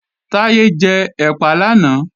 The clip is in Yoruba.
Táyé jẹ ẹ̀pà làná